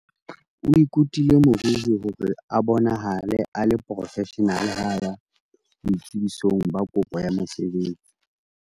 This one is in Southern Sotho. o ikutile moriri hore a bonahale a le porofeshenale ha a ya boitsebisong ba kopo ya mosebetsi